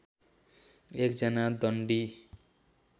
एक जना दण्डी